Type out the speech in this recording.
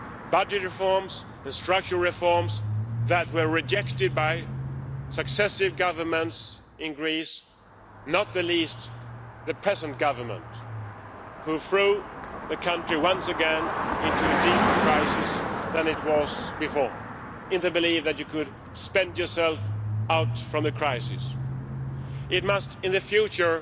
Budget reforms and structural reforms that were rejected by successive governments in Greece, not least the present government, which threw the country once again into a deeper crisis than it was in before, in the belief that you could spend yourself out of the crisis. In the future,